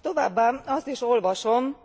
Továbbá azt is olvasom,